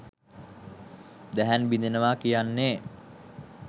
දැහැන් බිඳෙනවා කියන්නේ